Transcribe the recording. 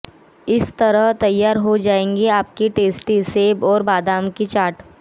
इस तरह तैयार हो जाएगी आपकी टेस्टी सेब और बादाम की चाट